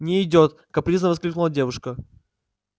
не идёт капризно воскликнула девушка